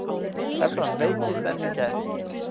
Evran veiktist enn í gær